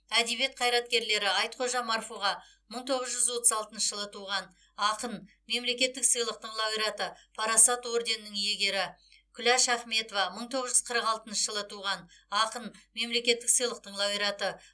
әдебиет қайраткерлері айтхожа марфуға мың тоғыз жүз отыз алтыншы жылы туған ақын мемлекеттік сыйлықтың лауреаты парасат орденінің иегері күләш ахметова мың тоғыз жүз қырық алтыншы жылы туған ақын мемлекеттік сыйлықтың лауреаты